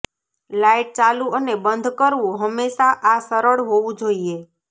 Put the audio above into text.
light ચાલુ અને બંધ કરવું હંમેશા આ સરળ હોવું જોઈએ